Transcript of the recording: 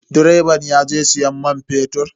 Direban yaje siyan man fetur.